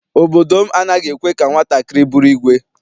Obodo m anaghị ekwe ka nwatakịrị bụrụ ìgwè.